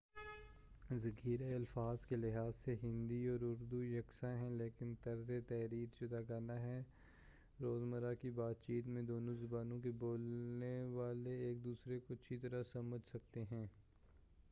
ذخیرۂ الفاظ کے لحاظ سے ہندی اور اردو یکساں ہیں لیکن طرز تحریر جداگانہ ہے روزمرہ کی بات چیت میں دونوں زبانوں کے بولنے والے ایک دوسرے کو اچھی طرح سمجھ سکتے ہیں